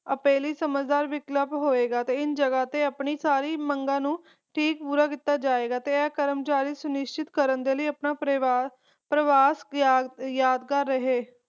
ਸਮਝਦਾਰ ਵਿਕਲਪ ਹੋਏਗਾ ਤੇ ਇਸ ਜੱਗ ਤੇ ਆਪਣੀ ਸਾਰੀ ਮੰਗ ਨੂੰ ਪੂਰਾ ਕੀਤਾ ਜਾਏਗਾ ਤੇ ਇਹ ਕਰਮਚਾਰੀ ਸੁਨਿਸਚਿਤ ਕਰਨ ਦੇ ਲਾਇ ਆਪਣਾ ਪਰਵਾਸ ਯਾਦਗਾਰ ਰਹੇ